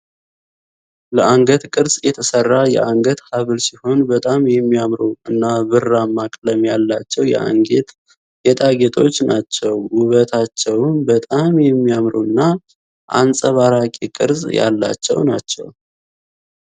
ለአንገት ቅርዕ የተሰራ የአንገት ሃብል ሲሆን በጣም የሚያምሩ እና ብራማ ቀለም ያላቸው የአንገት ጌጣጌጦች ናቸው ውበታቸውም በጣም የሚያምሩና አንጸባራቂ ቅርዕ ያላቸው ናቸው ።